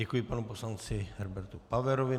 Děkuji panu poslanci Herbertu Paverovi.